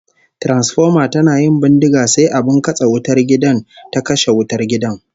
Transfoma tana yin bindiga sai abin katse wutar gida ta kashe wutar gidan